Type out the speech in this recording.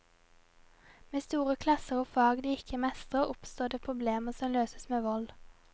Med store klasser og fag de ikke mestrer, oppstår det problemer som løses med vold.